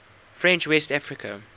french west africa